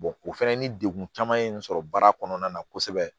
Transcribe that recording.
o fɛnɛ ni degun caman ye nin sɔrɔ baara kɔnɔna na kosɛbɛ